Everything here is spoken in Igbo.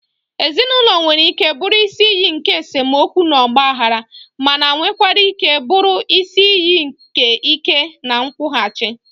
Ezinụlọ nwere ike bụrụ isi iyi nke esemokwu na ọgbaghara, mana nwekwara ike bụrụ isi iyi nke ike na nkwụghachi.